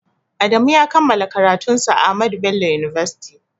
Adamu ya kammala karatun sa a Ahmadu bello university